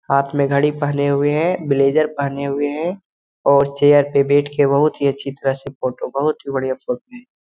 हाथ में घड़ी पहने हुए हैं ब्लेजर पहने हुए हैं और चेयर पे बैठ के बहुत ही अच्छी तरह से फोटो बहुत ही बढ़िया फोटो है।